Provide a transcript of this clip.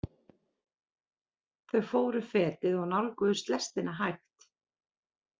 Þau fóru fetið og nálguðust lestina hægt.